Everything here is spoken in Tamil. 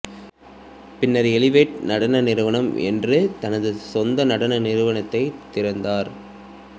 பின்னர் எலிவேட் நடன நிறுவனம் என்ற தனது சொந்த நடன நிறுவனத்தைத் திறந்தார்